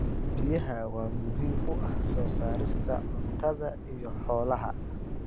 Biyaha waa muhiim u ah soo saarista cuntada iyo xoolaha.